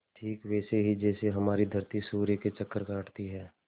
ठीक वैसे ही जैसे हमारी धरती सूर्य के चक्कर काटती है